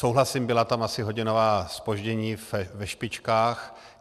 Souhlasím, byla tam asi hodinová zpoždění ve špičkách.